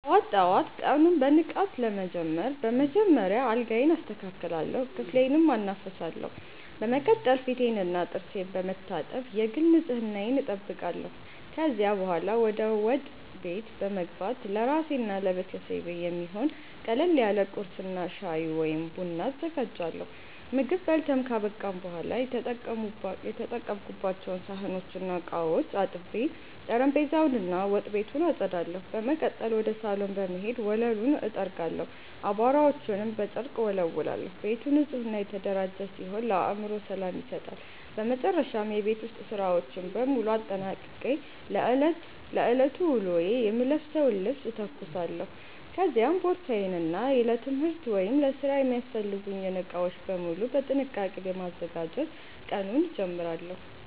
ጠዋት ጠዋት ቀኑን በንቃት ለመጀመር በመጀመሪያ አልጋዬን አስተካክላለሁ፣ ክፍሌንም አናፍሳለሁ። በመቀጠል ፊቴንና ጥርሴን በመታጠብ የግል ንጽህናዬን እጠብቃለሁ። ከዚያ በኋላ ወደ ወጥ ቤት በመግባት ለራሴና ለቤተሰቤ የሚሆን ቀለል ያለ ቁርስ እና ሻይ ወይም ቡና አዘጋጃለሁ። ምግብ በልተን ካበቃን በኋላ የተጠቀሙባቸውን ሳህኖችና ዕቃዎች አጥቤ፣ ጠረጴዛውን እና ወጥ ቤቱን አጸዳለሁ። በመቀጠል ወደ ሳሎን በመሄድ ወለሉን እጠርጋለሁ፣ አቧራዎችንም በጨርቅ እወለውላለሁ። ቤቱ ንጹህና የተደራጀ ሲሆን ለአእምሮ ሰላም ይሰጣል። በመጨረሻም የቤት ውስጥ ሥራዎችን በሙሉ አጠናቅቄ ለዕለቱ ውሎዬ የምለብሰውን ልብስ እተኩሳለሁ፤ ከዚያም ቦርሳዬን እና ለትምህርት ወይም ለሥራ የሚያስፈልጉኝን ዕቃዎች በሙሉ በጥንቃቄ በማዘጋጀት ቀኑን እጀምራለሁ።